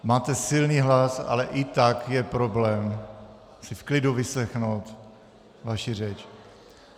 Máte silný hlas, ale i tak je problém si v klidu vyslechnout vaši řeč.